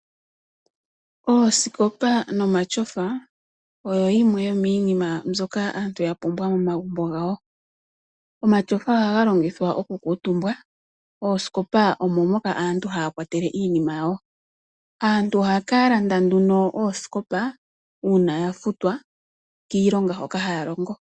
Oosikopa nomalyofa, oyo yimwe yomiinima mbyoka aantu yapumbwa momagumbo ngawo. Omatyofa ohaga longithwa okukutumba, oosikopa omomoka aantu haakwatele iinima yawo. Aantu ohaakalanda oosikopa uuna yafutwa kiilonga hoka haalongo.